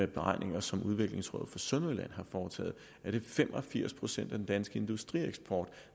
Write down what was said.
beregninger som udviklingsråd sønderjylland har foretaget er det fem og firs procent af den danske industrieksport